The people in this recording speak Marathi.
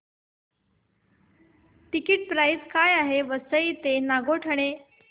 टिकिट प्राइस काय आहे वसई रोड ते नागोठणे